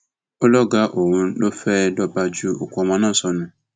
ó lọgàá òun lòún fẹẹ lóo bá ju òkú ọmọ náà sọnù